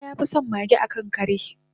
musa yafison mage akan kare